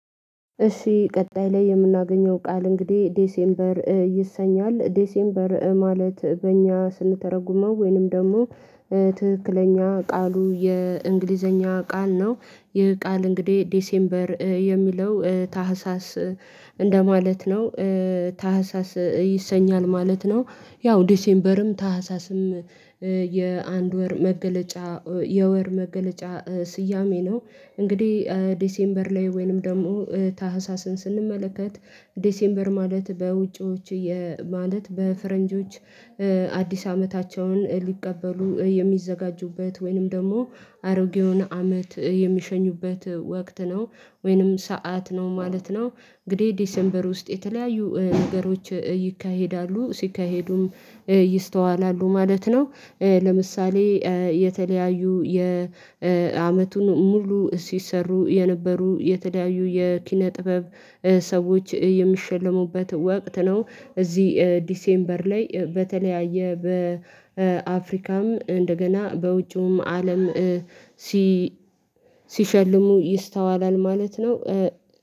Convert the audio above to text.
እሺ ቀጣይ ላይ የምናገኘው ቃል እንግዲህ ዴሴምበር ይሰኛል ዴሴምበር ማለት በእኛ ስንተረጉመው ወይንም ደግሞ ትክክለኛ ቃሉ የእንግሊዘኛ ቃል ነው ይህ ቃል እንግዲህ ዴሴምበር የሚለው ታህሳስ እንደማለት ነው ታህሳስ ይሰኛል ማለት ነው ያው ዲሴምበርም ታህሳስም የአንድ ወር መገለጫ የወር መገለጫ ስያሜ ነው። እንግዲህ ዲሴምበር ላይ ወይንም ደግሞ ታህሳስን ስንመለከት ዴሴምበር ማለት በውጪዎች ማለት በፈረንጆች አዲስ አመታቸውን ሊቀበሉ የሚዘጋጁበት ወይንም ደግሞ አሮጌውን አመት የሚሸኙበት ወቅት ነው ወይንም ሰዓት ነው ማለት ነው። እንግዲህ ዲሴምበር ውስጥ የተለያዩ ነገሮች ይካሄዳሉ ሲካሄዱም ይስተዋላሉ ማለት ነው። ለምሳሌ የተለያዩ የአመቱን ሙሉ ሲሰሩ የነበሩ የተለያዩ የኪነ ጥበብ ሰዎች የሚሸለሙበት ወቅት ነው። እዚህ ዲሴምበር ላይ በተለያየ በአፍሪካም እንደገና በውጪውም አለም ሲሸልሙ ይስተዋላል ማለት ነው።